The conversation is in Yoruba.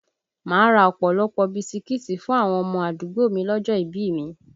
Máa ra ọ̀pọ̀lọpọ̀ ọ bisikíìtì fún àwọn ọmọ àdúgbò mi lọ́jọ́ ìbí i mi